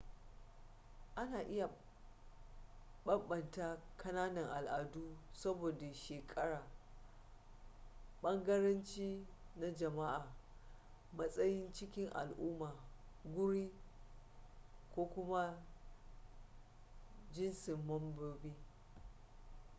ana iya bambanta kananan al’adu saboda shekara bangarenci na jama’a matsayi cikin al’umma guri da/ko kuma jintsin membobi